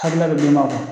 Hakilila bɛ d'i ma